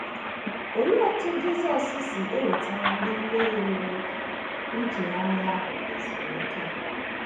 Olee otú Jisọs si ewetara ndị mmehie nwere nchegharị ahụ ezumike?